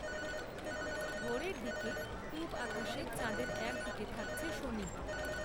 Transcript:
ভোরের দিকে পূব আকাশে চাঁদের এক দিকে থাকছে শনি